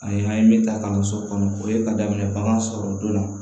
Ani an ye min ta kalanso kɔnɔ o ye ka daminɛ bagan sɔrɔ don dɔ